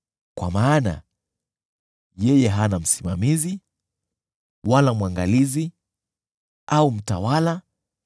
Kwa maana yeye hana msimamizi, wala mwangalizi, au mtawala,